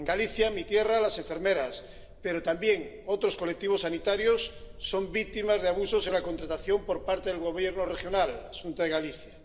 En Galicia, mi tierra, las enfermeras, pero también otros colectivos sanitarios, son víctimas de abusos en la contratación por parte del Gobierno regional, la Xunta de Galicia.